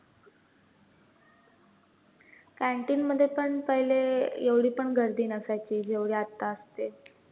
canteen मध्ये पण पहिले एवढी पण गर्दी नसायची, जेवढी आता असते.